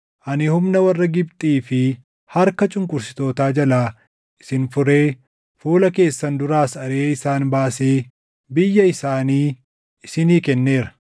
Ani humna warra Gibxii fi harka cunqursitootaa jalaa isin furee fuula keessan duraas ariʼee isaan baasee biyya isaanii isinii kenneera.